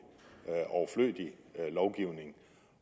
er overflødig lovgivning